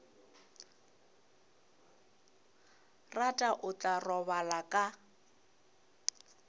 rata o tla robala ka